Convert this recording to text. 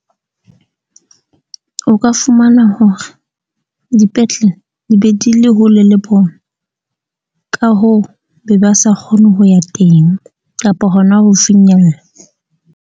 O ka fumana hore dipetlele di be di le hole le bona, ka hoo, be ba sa kgone ho ya teng kapa hona ho finyella.